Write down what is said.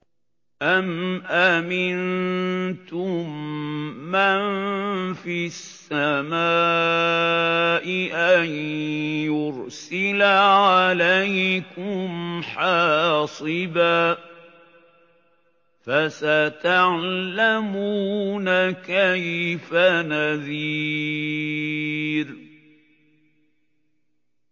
أَمْ أَمِنتُم مَّن فِي السَّمَاءِ أَن يُرْسِلَ عَلَيْكُمْ حَاصِبًا ۖ فَسَتَعْلَمُونَ كَيْفَ نَذِيرِ